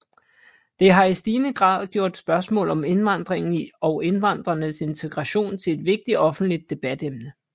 Det har i stigende grad gjort spørgsmål om indvandringen og indvandrernes integration til et vigtigt offentligt debatemne